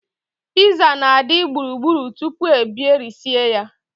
Piiza na-adị gburugburu tupu e berisie ya.